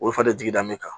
Olu fari jigi da min kan